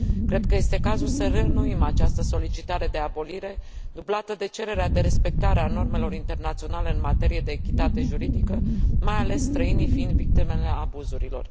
Cred că este cazul să reînnoim această solicitare de abolire, dublată de cererea de respectare a normelor internaționale în materie de echitate juridică, mai ales străinii fiind victimele abuzurilor.